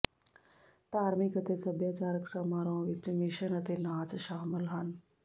ਧਾਰਮਿਕ ਅਤੇ ਸੱਭਿਆਚਾਰਕ ਸਮਾਰੋਹਾਂ ਵਿੱਚ ਮਿਸ਼ਨ ਅਤੇ ਨਾਚ ਸ਼ਾਮਲ ਹਨ